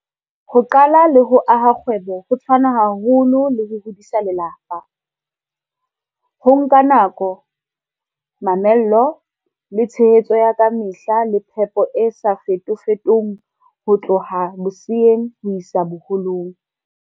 Ho qala le ho aha kgwebo ho tshwana haholo le ho hodisa lelapa. Ho nka nako, mamello, le tshehetso ya kamehla le phepo e sa fetofetong ho tloha boseyeng ho isa boholong.